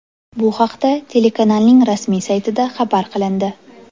Bu haqda telekanalning rasmiy saytida xabar qilindi .